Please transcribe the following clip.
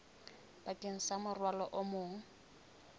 bakeng sa morwalo o mong